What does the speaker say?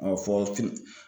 fɔ